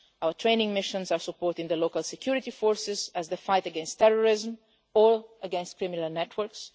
Our training missions are supporting the local security forces as they fight against terrorism or against criminal networks.